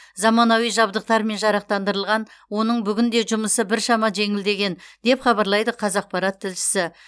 заманауи жабдықтармен жарақтандырылған оның бүгінде жұмысы біршама жеңілдеген деп хабарлайды қазақпарат тілшісі